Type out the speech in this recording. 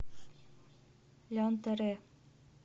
лянторе